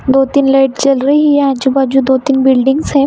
दो-तीन लाइट जल रही हैं आजू-बाजू दो-तीन बिल्डिंग्स हैं।